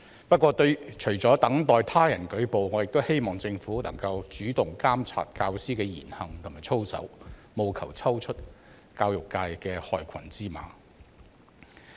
不過，除了等待他人舉報，我亦希望政府能夠主動監察教師的言行和操守，務求抽出教育界的害群之馬。